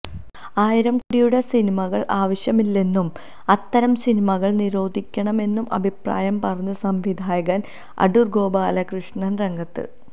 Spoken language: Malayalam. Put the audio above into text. ആയിരം കോടിയുടെ സിനിമകള് ആവശ്യമില്ലെന്നും അത്തരം സിനിമകള് നിരോധിക്കണമെന്നും അഭിപ്രായം പറഞ്ഞു സംവിധായകന് അടൂര് ഗോപാലകൃഷ്ണന് രംഗത്ത്